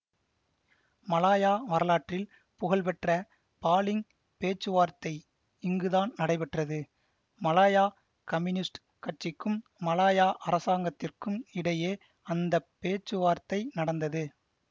Malaya வரலாற்றில் புகழ்பெற்ற Baling பேச்சுவார்த்தை இங்குதான் நடைபெற்றது மலாயா கம்னியூஸ்டு கட்சிக்கும் மலாயா அரசாங்கத்திற்கும் இடையே அந்த பேச்சுவார்த்தை நடந்தது